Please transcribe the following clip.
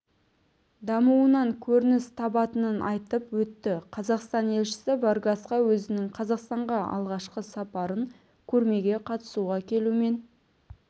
дамуынан көрініс табатынын айтып өтті қазақстан елшісі варгасқа өзінің қазақстанға алғашқы сапарын көрмеге қатысуға келумен